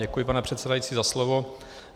Děkuji, pane předsedající, za slovo.